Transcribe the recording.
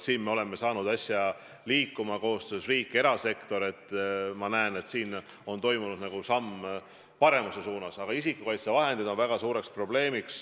Me oleme küll saanud asja riigi ja erasektori koostöös liikuma ja ma näen, et on toimunud nagu samm paremuse suunas, aga isikukaitsevahendid on ikkagi väga suur probleem.